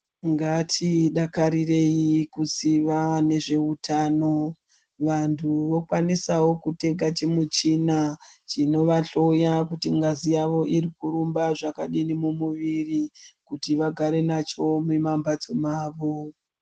Ngatidakarirei kuziya nezveutano vantu vokwanisawo kutenga chimuchina chinovahloya kuti ngazi yawo iri kurumba zvakadini mumuviri kuti vagare nacho mumamhatso mawo.